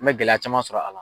N bɛ gɛlɛya caman sɔrɔ a la.